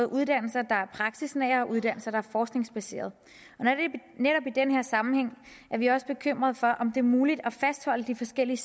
uddannelser der er praksisnære og uddannelser der er forskningsbaserede netop i den her sammenhæng er vi også bekymrede for om det er muligt at fastholde de forskellige